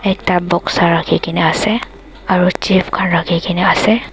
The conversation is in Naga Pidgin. ekta box rakhikena ase aro chips khan rakhikena ase.